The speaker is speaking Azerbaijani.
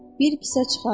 Bir kisə çıxardı.